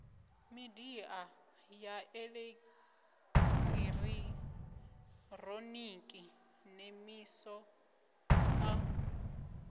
midia ya elekitironiki nemisa o